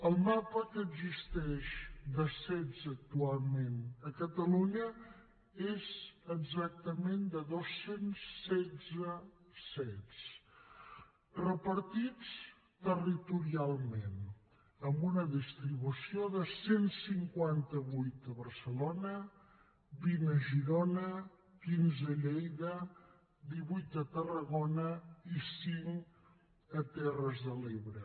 el mapa que existeix de cet actualment a catalunya és exactament de dos cents i setze cet repartits territorialment amb una distribució de cent i cinquanta vuit a barcelona vint a girona quinze a lleida divuit a tarragona i cinc a terres de l’ebre